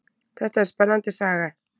Þetta er spennandi saga.